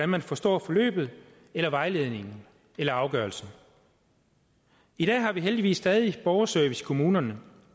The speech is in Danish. man forstår forløbet eller vejledningen eller afgørelsen i dag har vi heldigvis stadig borgerservice i kommunerne